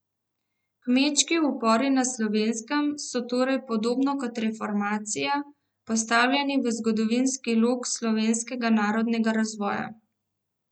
Kmečki upori na Slovenskem so torej, podobno kot reformacija, postavljeni v zgodovinski lok slovenskega narodnega razvoja.